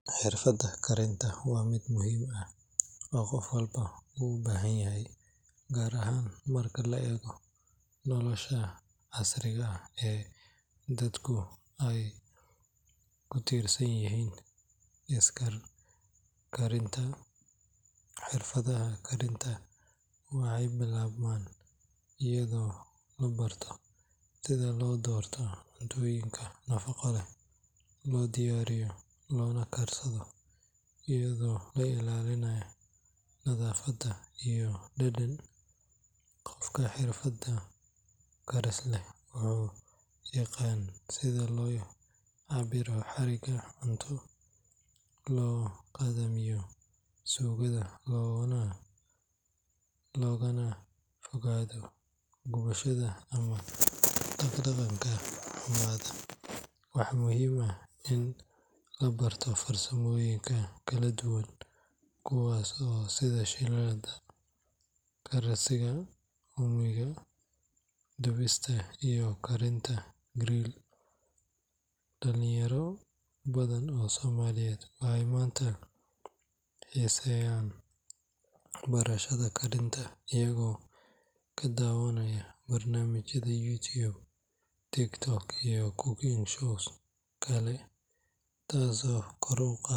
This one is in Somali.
Xirfadda karinta waa mid muhiim ah oo qof walba uu u baahan yahay, gaar ahaan marka la eego nolosha casriga ah ee dadku ay ku tiirsan yihiin iskar karinta. Xirfadaha karintu waxay bilaabmaan iyadoo la barto sida loo doorto cuntooyinka nafaqo leh, loo diyaariyo, loona karsado iyadoo la ilaalinayo nadaafad iyo dhadhan. Qofka xirfad karis leh wuu yaqaan sida loo cabbiro xaddiga cunto, loo dhadhamiyo suugada, loogana fogaado gubashada ama dhadhanka xumaada. Waxaa muhiim ah in la barto farsamooyinka kala duwan sida shiilidda, karsiga uumiga, dubista iyo karinta grill. Dhallinyaro badan oo Soomaaliyeed waxay maanta xiiseynayaan barashada karinta iyagoo ka daawanaya barnaamijyada YouTube, TikTok iyo cooking shows kale, taasoo kor u qaada.